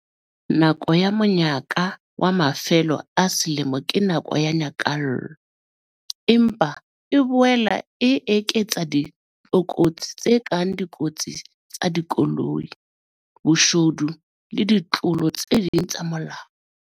Nako ya monyaka wa mafelo a selemo ke nako ya nyakallo. Empa e boela e eketsa ditlokotsi tse kang dikotsi tsa dikoloi, boshodu le ditlolo tse ding tsa molao.